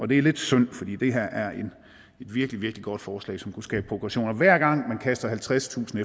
det er lidt synd fordi det her er et virkelig virkelig godt forslag som kunne skabe progression hver gang man kaster halvtredstusind